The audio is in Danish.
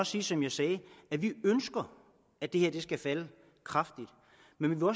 sige som jeg sagde at vi ønsker at det her skal falde kraftigt men vi må